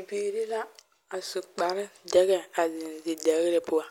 Bibiiri la a su kparedɛgɛ a zeŋ zidɛgre poɔ